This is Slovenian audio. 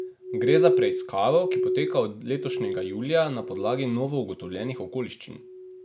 Gre za preiskavo, ki poteka od letošnjega julija na podlagi novougotovljenih okoliščin.